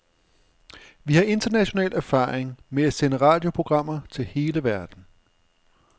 Vi har international erfaring med at sende radioprogrammer til hele verden.